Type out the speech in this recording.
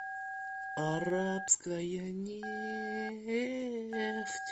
арабская нефть